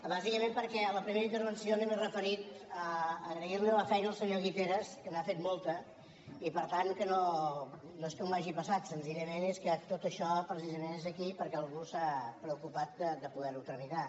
bàsicament perquè en la primera intervenció no m’he referit a agrairli la feina al senyor guiteras que n’ha fet molta i per tant que no és que m’ho hagi passat senzillament és que tot això precisament és aquí perquè algú s’ha preocupat de poderho tramitar